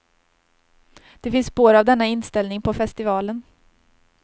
Det finns spår av denna inställning på festivalen.